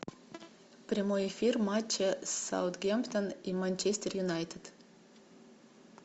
прямой эфир матча саутгемптон и манчестер юнайтед